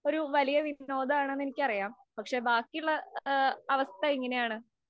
ഒരു വലിയ വിനോദമാണ് എന്ന് എനിക്കറിയാം. പക്ഷേ, ബാക്കിയുള്ള അവസ്ഥ എങ്ങനെയാണ്?